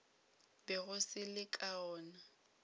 bego se le ka gona